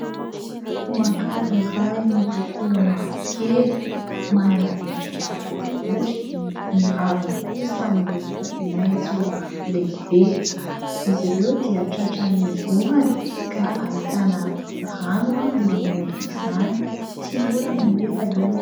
Voankazo iray miloko mavokely, manana endrika boribory, ny raviny kosa miloko maitso lehibe. Izy ireo dia tratran'ny orana ka ahitana rano eo ambonin'izany. Tsy olana anefa io.